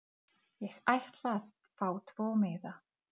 Þetta er taskan mín. Er þetta taskan þín?